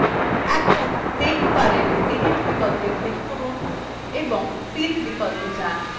এখন menu bar edit বিকল্পে click করুন এবং fill বিকল্পে যান